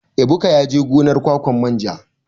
Ebuka yaje gonar ƙwaƙwan manja.